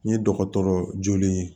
N ye dɔgɔtɔrɔ jolen ye